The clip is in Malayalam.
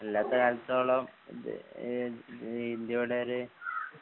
അല്ലാത്തകാലത്തോളം ഇത് ഇഹ് ഇഹ് ഇന്ത്യയുടെ ഒര്